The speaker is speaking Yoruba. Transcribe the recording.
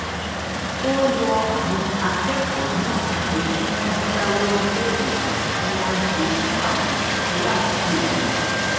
ó rọ àwọn akékòó náà pé kí wón dáwó lé ètò tí wón ń ṣe fún àwọn aládùúgbò wọn